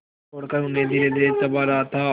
तोड़कर उन्हें धीरेधीरे चबा रहा था